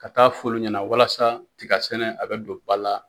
Ka taa f'olu ɲɛna walasa tigasɛnɛ a bɛ don ba la